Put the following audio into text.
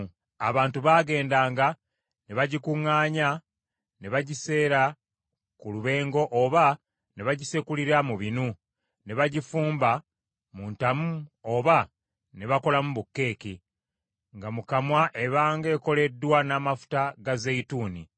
Abantu baagendanga ne bagikuŋŋaanya ne bagiseera ku lubengo oba ne bagisekulira mu binu, ne bagifumba mu ntamu oba ne bakolamu bukeeke. Nga mu kamwa ebanga ekoleddwa n’amafuta ga zeyituuni.